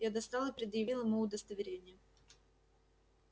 я достал и предъявил ему удостоверение